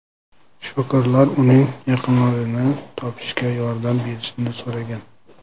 Shifokorlar uning yaqinlarini topishga yordam berishni so‘ragan.